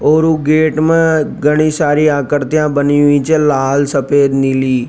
ओर gate में घनी सारी आकृतियां बनी हुई च लाल सफेद नीली --